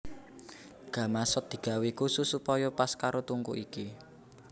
Gamasot digawé khusus supaya pas karo tungku iki